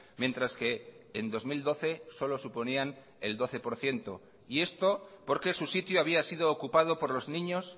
mientras que en dos mil doce solo suponían el doce por ciento y esto porque su sitio había sido ocupado por los niños